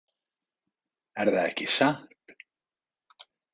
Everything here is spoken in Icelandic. Erða ekki satt?